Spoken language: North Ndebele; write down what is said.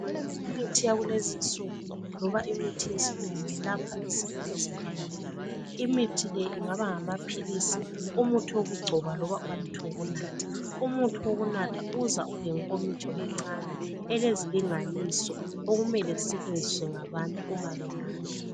Imithi yakulezinsuku loba imithi yesilungu ilapha izifo ezehlukeneyo. Imithi le ingaba ngamaphilisi umuthi wokugcoba loba umuthi wokunatha. Umuthi wokunatha uza ulenkomitsho encane elezilinganiso okumele zisetshenziswe ngabantu uma benatha.